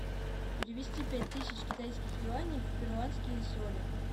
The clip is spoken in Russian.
перевести пять тысяч китайских юаней в перуанские соли